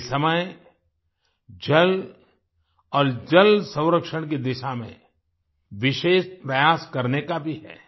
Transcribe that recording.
ये समय जल और जल संरक्षण की दिशा में विशेष प्रयास करने का भी है